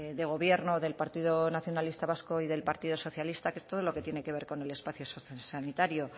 de gobierno del partido nacionalista vasco y del partido socialista que es todo lo que tiene que ver con el espacio sociosanitario